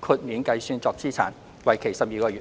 豁免計算作資產，為期12個月。